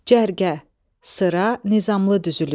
Cərgə, sıra, nizamlı düzülüş.